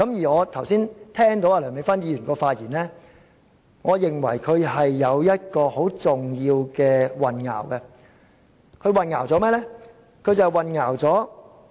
我剛才聽到梁美芬議員的發言，我認為她混淆了很重要的一點，她混淆了甚麼？